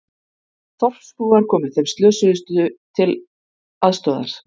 Þorpsbúar komu þeim slösuðust til aðstoðar